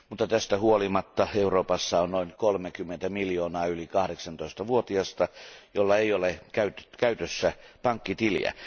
Tästä huolimatta Euroopassa on noin 30 miljoonaa yli 18 vuotiasta, joilla ei ole käytössään pankkitiliä.